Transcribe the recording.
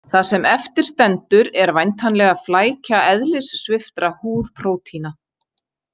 Það sem eftir stendur er væntanlega flækja eðlissviptra húðprótína.